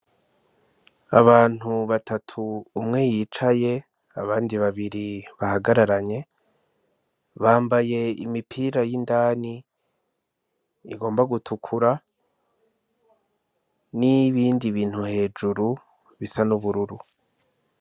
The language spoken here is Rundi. Abantu batatu umwe yicaye abandi babiri bahagararanye bambaye imipira y'indani igomba gutukura n'ibindi bintu hejuru bisa n'ubururu.